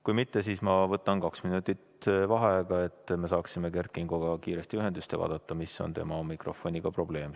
Kui ei ole, siis ma võtan kaks minutit vaheaega, et me saaksime Kert Kingoga kiiresti ühendust ja selgitada välja, mis on tema mikrofoni probleem.